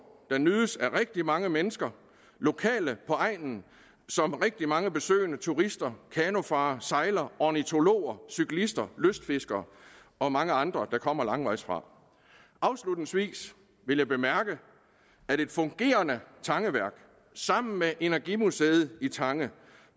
der nydes af rigtig mange mennesker lokale på egnen samt rigtig mange besøgende turister kanofarere sejlere ornitologer cyklister lystfiskere og mange andre der kommer langvejs fra afslutningsvis vil jeg bemærke at et fungerende tangeværk sammen med energimuseet i tange